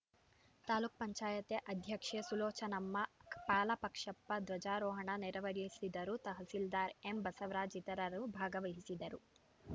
ತಾಲೂಕ್ ಪಂಚಾಯತೆ ಅಧ್ಯಕ್ಷೆ ಸುಲೋಚನಮ್ಮ ಪಾಲಾಕ್ಷಪ್ಪ ಧ್ವಜಾರೋಹಣ ನೆರವೇರಿಸಿದರು ತಹಸೀಲ್ದಾರ್‌ ಎಂ ಬಸವರಾಜ್‌ ಇತರರು ಭಾಗವಹಿಸಿದ್ದರು